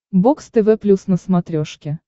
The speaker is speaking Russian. бокс тв плюс на смотрешке